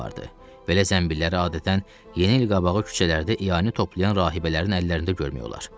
Belə zənbilləri adətən yeni il qabağı küçələrdə ianə toplayan rahibələrin əllərində görmək olar.